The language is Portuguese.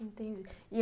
Entendi.